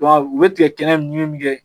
u bɛ tigɛ kɛnɛ nunnu kɛ